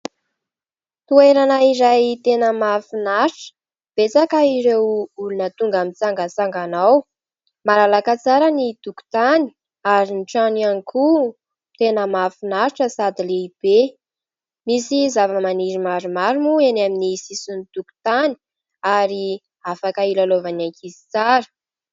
Toerana iray tena mahafinaritra, betsaka ireo olona tonga mitsangatsangana ao. Malalaka tsara ny tokotany ary ny trano ihany koa tena mahafinaritra sady lehibe. Misy zava-maniry maromaro moa eny min'ny sisin'ny tokotany ary afaka hilalaovan'ny ankizy tsara.